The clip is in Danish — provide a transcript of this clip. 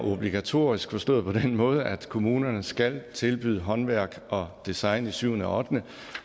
obligatorisk forstået på den måde at kommunerne skal tilbyde håndværk og design i syvende og ottende